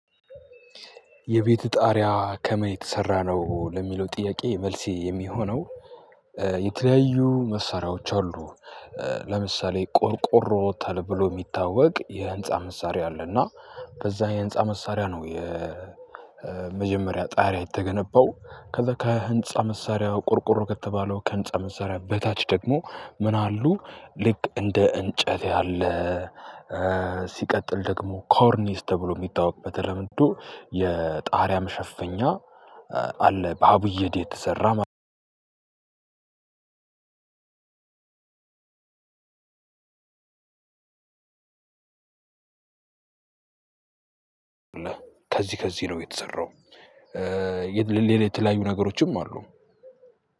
የቤት ጣሪያ ከምን የተሰራ ነው ለሚለው ጥያቄ መልሴ የሚሆነው። የተለያዩ መሳሪያዎች አሉ። ለምሳሌ ቆርቆሮ ተብሎ የሚታወቅ የህንፃ መሳሪያ አለና። በዛ የህንፃ መሳሪያ ነው። የመጀመሪያ ጣሪያ የተገነባው ከዛ ከህንፃ መሳሪያ ቁርቁር ከተባለው ከህንፃ መሳሪያ በታች ደግሞ ምን አሉ? ልክ እንደ እንጨት ያለ። ሲቀጥል ደግሞ ኮርኒስ ተብሎ የሚታወቅ በተለምዶ የጣርያ መሸፈኛ አለ። ከብየዳ የተሰራ። ከዚህ ከዚህ ነው የተሰራው። ሌላ ሌላ የተለያዩ ነገሮችም አሉ።